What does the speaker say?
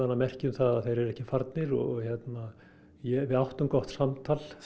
merki um að þeir eru ekki farnir og við áttum gott samtal